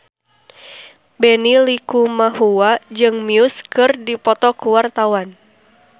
Benny Likumahua jeung Muse keur dipoto ku wartawan